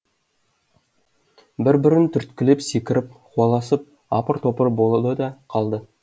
бір бірін түрткілеп секіріп қуаласып апыр топыр болды да қалды